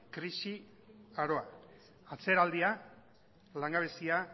atzeraldia langabezia